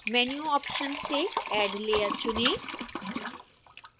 menu option से add layer चुनें